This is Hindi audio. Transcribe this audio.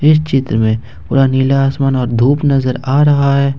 इस चित्र में पूरा नीला आसमान और धूप नजर आ रहा है।